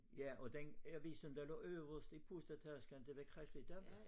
Ja og den avisen der lå øverst i pusletasken det var Kristeligt Dagblad